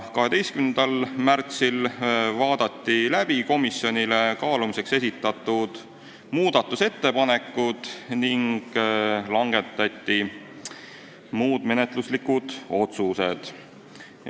12. märtsil vaadati läbi komisjonile kaalumiseks esitatud muudatusettepanekud ning langetati muud menetluslikud otsused.